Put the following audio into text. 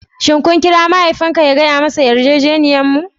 Shin kun kira mahaifinku ya gaya masa yarjejeniyarmu?